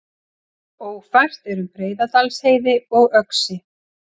Ófært er um Breiðdalsheiði og Öxi